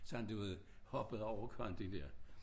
Sådan du ved hoppede over kanten der